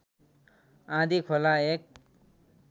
आँधीखोला एक